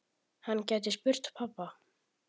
Hann gæti spurt pabba.